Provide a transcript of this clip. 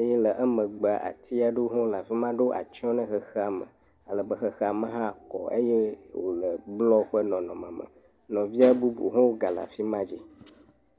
Eye le emegbe ati aɖewo ho le afi ma ɖo atsiɔ ne xexea me ale be xexea me hã kɔ eye blɔ ƒe nɔnɔme me. Nɔvia bubuwo hã gale afi ma dzi.